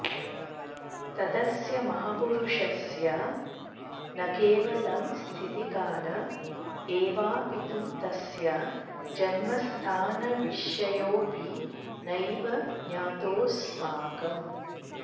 तदस्य महापुरुषस्य न केवलं स्थितिकाल एवापितु तस्य जन्मस्थानविषयोऽपि नैव ज्ञातोऽस्माकम्